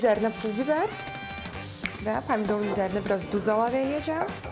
Üzərinə pul bibər və pomidorun üzərinə biraz duz əlavə eləyəcəm.